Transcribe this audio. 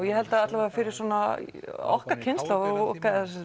ég held að allavega fyrir svona okkar kynslóð og